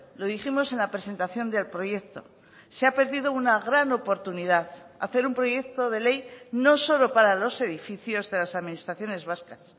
lo dijimos en la presentación del proyecto se ha perdido una gran oportunidad hacer un proyecto de ley no solo para los edificios de las administraciones vascas